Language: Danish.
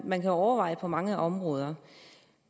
man kan overveje på mange områder